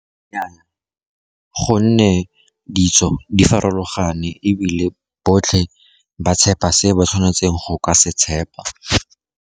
Nnyaa, gonne ditso di farologane, ebile botlhe ba tshepa se ba tshwanetseng go ka se tshepa.